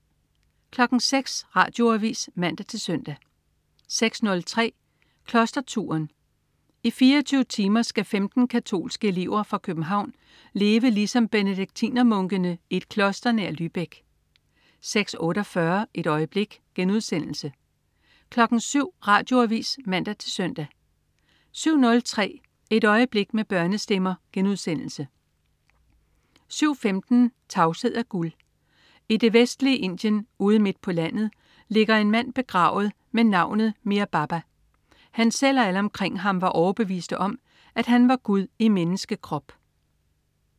06.00 Radioavis (man-søn) 06.03 Klosterturen. I 24 timer skal 15 katolske elever fra København leve ligesom benediktinermunkene i et kloster nær Lübeck 06.48 Et øjeblik* 07.00 Radioavis (man-søn) 07.03 Et øjeblik med børnestemmer* 07.15 Tavshed er gud. I det vestlige Indien ude midt på landet ligger en mand begravet ved navn Meher Baba. Han selv og alle omkring ham var overbeviste om, at han var Gud i menneskekrop